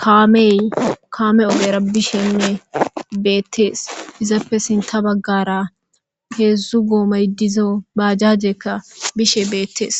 kaamey kaame ogera bishenne beettees izappe sin ta baggara heedzdzu goomaydizo baajajekka bishe beettees